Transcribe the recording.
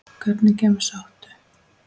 Hvernig gemsa áttu?